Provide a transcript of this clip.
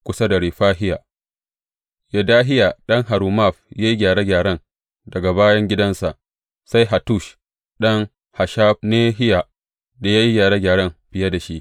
Kusa da Refahiya, Yedahiya ɗan Harumaf ya yi gyare gyaren daga gaban gidansa, sai Hattush ɗan Hashabnehiya ya yi gyare gyaren biye da shi.